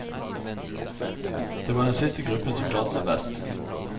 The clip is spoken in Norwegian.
Det var den siste gruppen som klarte seg best.